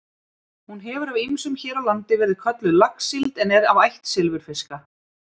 Hún hefur af ýmsum hér á landi verið kölluð laxsíld en er af ætt silfurfiska.